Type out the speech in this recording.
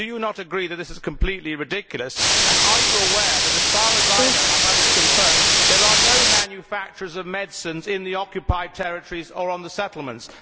Do they not agree that this is completely ridiculous, and are they aware that, as far as I know and have had confirmed there are no manufacturers of medicine in the Occupied Territories or the settlements?